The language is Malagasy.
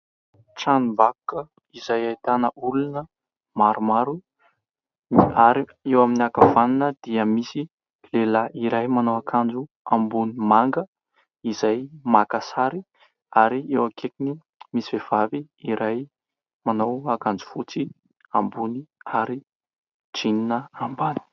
Tranom-bakoka izay ahitana olona maromaro ary eo amin'ny ankavanana dia misy lehilahy iray manao akanjo ambony manga izay maka sary. Ary eo akaikiny misy vehivavy iray manao ankanjo fotsy ambony ary "jean" ambany.